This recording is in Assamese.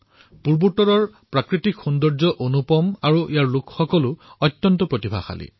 পূৰ্বাঞ্চলৰ প্ৰাকৃতিক সৌন্দৰ্য অনুপম আৰু ইয়াৰ লোকসকল অত্যন্ত প্ৰতিভাশালী